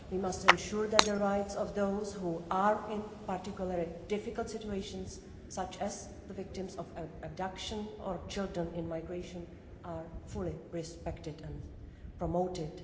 We must ensure that the rights of those who are in particularly difficult situations, such as the victims of abduction or children in migration, are fully respected and promoted.